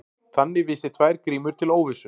Þannig vísi tvær grímur til óvissu.